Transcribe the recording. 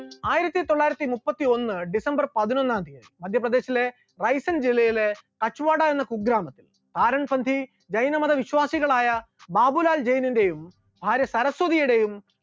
ആയിരത്തിത്തൊള്ളായിരത്തി മുപ്പത്തിയൊന്ന് december പതിനൊന്നാം തിയ്യതി മധ്യപ്രദേശിലെ റൈസിൻ ജില്ലയിലെ കച്ചുവാടാ എന്ന കുഗ്രാമം, ആരാംസന്ധി ജൈനമത വിശ്വാസികളായ ബാബുലാൽ ജെയ്‌നിന്റെയും ഭാര്യ സരസ്വതിയുടെയും